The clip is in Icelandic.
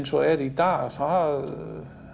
er í dag það